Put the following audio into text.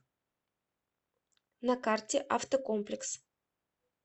на карте автокомплекс